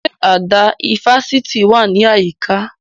Ṣé àdá ifásitì wà ní àyíká?